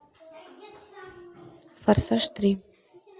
форсаж три